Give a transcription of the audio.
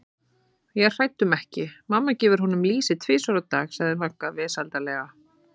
Ég er hrædd um ekki, mamma gefur honum lýsi tvisvar á dag sagði Magga vesældarlega.